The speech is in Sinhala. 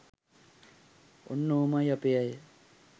ඔන්න ඔහොමයි අපේ අය